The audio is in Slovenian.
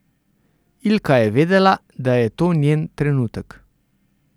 Ilka je vedela, da je to njen trenutek.